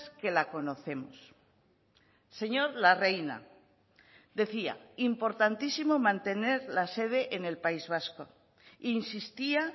que la conocemos señor larreina decía importantísimo mantener la sede en el país vasco insistía